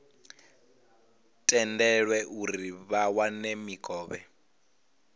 tendelwe uri vha wane mikovhe